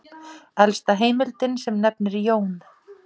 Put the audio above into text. Elsta heimildin sem nefnir Jón